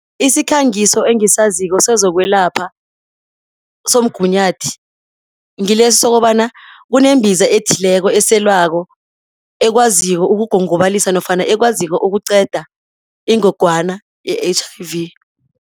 Isikhangiso engisaziko sezokwelapha somgunyathi, ngilesi sokobana kunembiza ethileko eselwako, ekwaziko ukugongobalisa ekwaziko ukuqeda ingogwana ye-H_I_V.